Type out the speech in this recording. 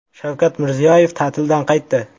Shavkat Mirziyoyev ta’tildan qaytdi.